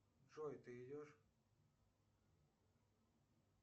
джой ты идешь